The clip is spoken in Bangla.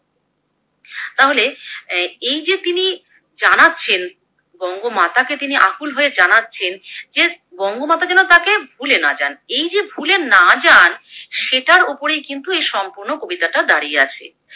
তাহলে এ এই যে তিনি জানাচ্ছেন, বঙ্গমাতাকে তিনি অকূল হয়ে জানাচ্ছেন যে বঙ্গমাতা যেন তাকে ভুলে না যান, এই যে ভুলে না যান সেটা ওপরেই কিন্তু এই সম্পূর্ণ কবিতাটা দাঁড়িয়ে আছে।